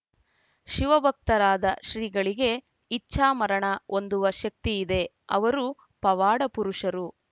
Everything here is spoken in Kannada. ಶಿವಭಕ್ತರಾದ ಶ್ರೀಗಳಿಗೆ ಇಚ್ಚಾಮರಣ ಹೊಂದುವ ಶಕ್ತಿ ಇದೆ ಅವರು ಪವಾಡ ಪುರುಷರು